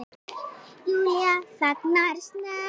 Júlía þagnar snöggt.